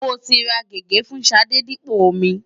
Mo ti ra gègé fún Ṣadé dípò omi.